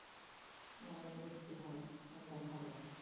মানে মৃত্যু হয়। ওরম দেখা যায়